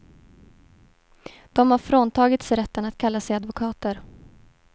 De har fråntagits rätten att kalla sig advokater.